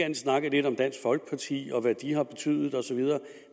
end snakket lidt om dansk folkeparti og hvad de har betydet og så videre